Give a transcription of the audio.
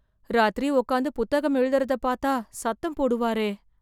ராத்திரி உக்காந்து புத்தகம் எழுதறதை பார்த்தால், சத்தம் போடுவாரே...